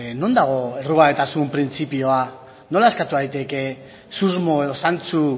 non dago errugabetasun printzipioa nola eskatu daiteke susmo edo zantzu